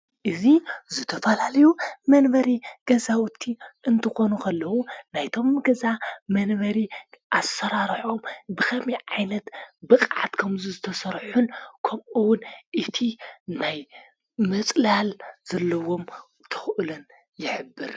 እዙ ዘተፈላለዩ መነበሪ ገዛውቲ እንትኾኑኽ ኣለዉ ናይቶም ገዛ መንበሪ ኣሠራርሖም ብኸሚ ዓይነት ብቓዓት ከምዝ ዝተሠርሑን ከምኡውን እቲ ናይ መጽላል ዘለዎም ተኡለን የኅብር::